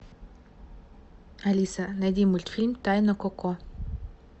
алиса найди мультфильм тайна коко